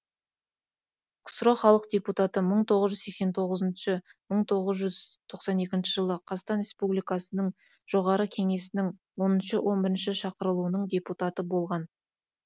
ксро халық депутаты мың тоғыз сексен тоғызыншы мың тоғыз жүз тоқсан екінші жылы қазақстан республикасының жоғарғы кеңесінің оныншы он бірінші шақырылуының депутаты болған